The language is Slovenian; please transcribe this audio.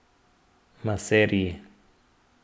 Maserji.